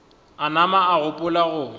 a nama a gopola go